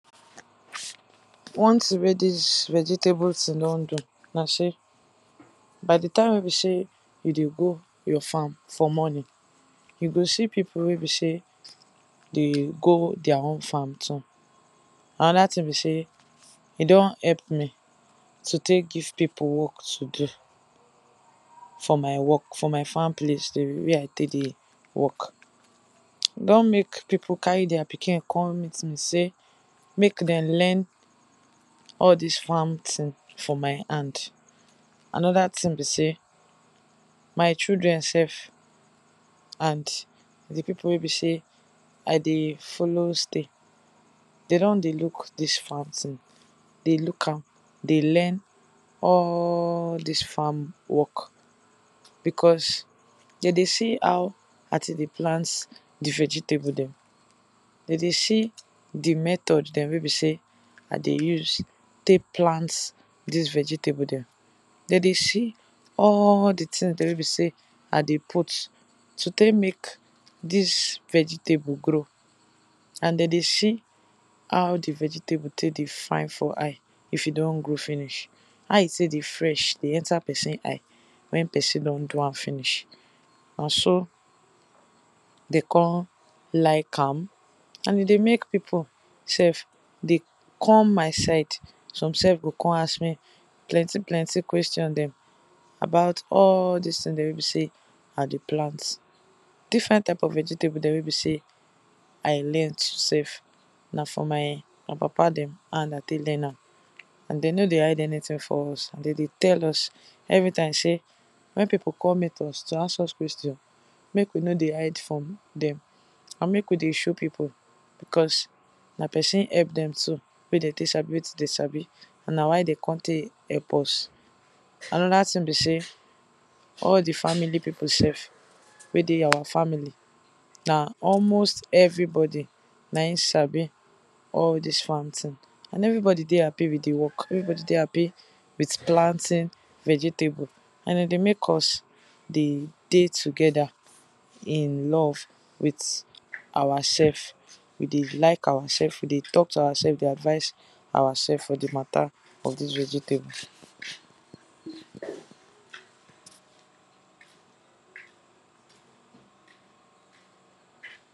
One tin wey dis vegetable tin don do na sey by the time wey be sey you dey go your farm for morning, you go see people wey be sey dey go dia own farm too. Another tin be sey e don help me to take give pipu work to do for my work for my farm place wey I take dey work. E don make pipu carry dia pikin come meet me sey make dem learn all dis farm tin for my hand. Another tin be sey my children sef, and the pipu wey be sey I dey follow stay, de don dey look dis farm tin, dey look am, dey learn all dis farm work Becos de dey see how I take dey plant the vegetable dem. De dey see the method dem wey be say I dey use take plant dis vegetable dem. De dey see all the tin dem wey be sey I dey put to take make dis vegetable grow. An de dey see how the vegetable take dey fine for eye if e don grow finish — how e take dey fresh, dey enter peson eye when peson don do am finish. Na so de con like am, an e dey make pipu sef dey come my side. Some sef go con ask me plenty-plenty question dem about all dis tin dia wey be sey I dey plant. Different type of vegetables dia wey be sey I learnt sef, na from my papa dem hand I take learn am. An de no dey hide anything for us, an de dey tell us every time sey when pipu come meet us to ask us question, make we no dey hide from dem. And make we dey show pipu becos na peson help dem too wey de take sabi wetin de sabi, an na why de con take help us. Another tin be sey all the family pipu sef wey dey our family, na almost everybody na ein sabi all dis farm tin An everybody dey happy with the work —everybody dey happy with planting vegetable— an e dey make us de dey together in love with awasef. We dey like awasef, we dey talk to awasef, dey advice awasef for the matter of dis vegetable.